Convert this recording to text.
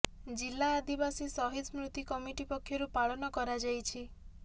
ଜିଲା ଆଦିବାସୀ ସହିଦ ସ୍ମୃତି କମିଟି ପକ୍ଷରୁ ପାଳନ କରାଯାଇଛି